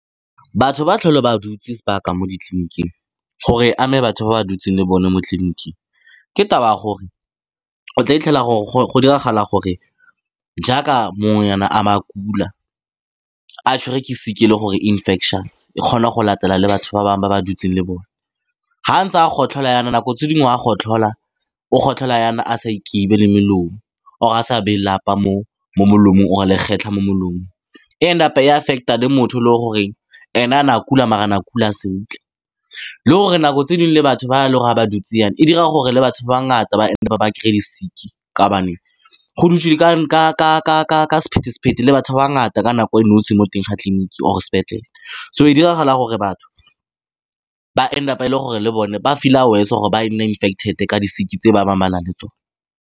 Batho ba tlhole ba dutse sebaka mo ditleniking, gore e ame batho ba ba dutseng le bone mo tleliniking, ke taba ya gore o tla fitlhela gore go diragala gore jaaka mongwe nyana a ba a kula, a tshwere ke sick-e e le gore infectious, e kgona go latela le batho ba bangwe ba ba dutseng le bone, ga a ntse a gotlhola jaana, nako tse dingwe a gotlhola, o gotlhola jaana a sa le molomo, or a sa baye lapa mo molomong, or-e legetla mo molomong, e and up-a e affect-a le motho e le goreng ene na kula maar na kula sentle. Le gore nako tse dingwe le batho ba le ga ba dutse jaana, e dira gore batho ba ngata ba end up-a ba kry-a di-sick-e ka ba ne go dutswe di ka batho ba ba ngata ka nako e nosi mo teng ga tleliniki or-e sepetlele. So e diragala gore batho ba and up-a e le gore le bone ba feel-a worse or-e ba nne infected-e ka di-sick-e tse ba bangwe ba na le tsone.